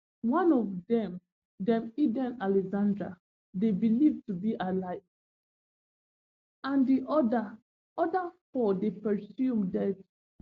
one of dem dem edan alexander dey believed to be alive and di oda other four dey presumed dead